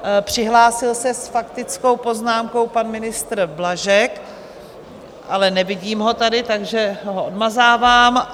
Přihlásil se s faktickou poznámkou pan ministr Blažek, ale nevidím ho tady, takže ho odmazávám.